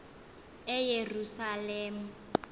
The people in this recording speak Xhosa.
eyerusalem